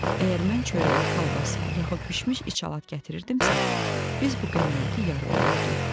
Əgər mən çörək, kolbasa yaxud bişmiş içalat gətirirdimsə, biz bu qəniməti yarı bölürdük.